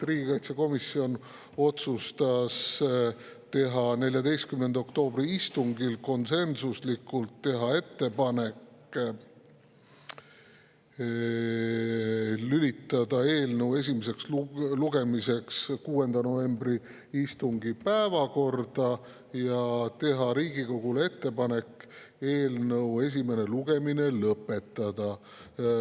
Riigikaitsekomisjon otsustas konsensuslikult 14. oktoobri istungil teha ettepaneku lülitada eelnõu esimeseks lugemiseks 6. novembri istungi päevakorda ja eelnõu esimene lugemine lõpetada.